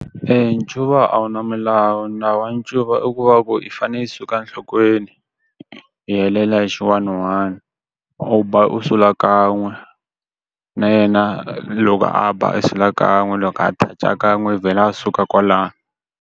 ncuva a wu na milawu na wa ncuva i ku va ku i fanele i suka enhlokweni, i helela hi xi one one. U ba u sula kan'we. Na yena loko a ba a sula kan'we loko a touch-a kan'we i vhela a suka kwalano.